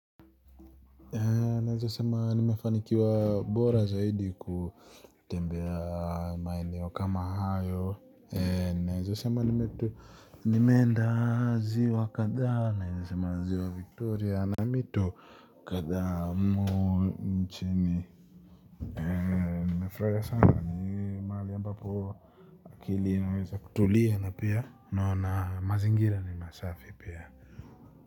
Naweza sema nimefanikiwa bora zaidi kutembea maeneo kama hayo. Naweza sema nimeenda ziwa kadhaa naweza sema ziwa victoria na mito kadhaa nchini nimefurahia sana ni mahali ambapo akili imeweza kutulia na pia na mazingira ni masafi pia.